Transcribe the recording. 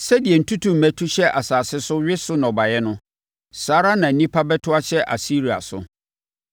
Sɛdeɛ ntutummɛ tu hyɛ asase so we so nnɔbaeɛ no; saa ara na nnipa bɛto ahyɛ Asiria so.